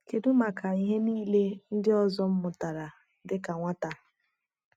Kedu maka ihe niile ndị ọzọ m mụtara dị ka nwata?